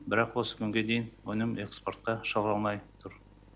бірақ осы күнге дейін өнім экспортқа шығарылмай тұр